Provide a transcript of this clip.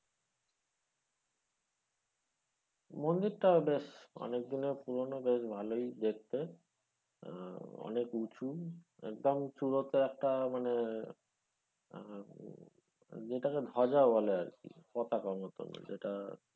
মন্দিরটা বেশ অনেক দিনের পুরনো বেশ ভালোই দেখতে আহ অনেক উঁচু একদম চুড়িতে একটা মানে আহ যেটা কে ধ্বজা বলে আরকি পতাকা মতো যেটা,